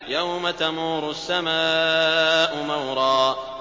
يَوْمَ تَمُورُ السَّمَاءُ مَوْرًا